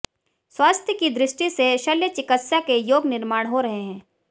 स्वास्थ्य की दृष्टि से शल्य चिकित्सा के योग निर्माण हो रहे हैं